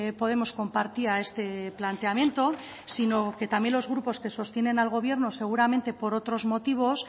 podemos compartía este planteamiento sino que también los grupos que sostienen al gobierno seguramente por otros motivos